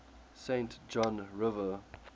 saint john river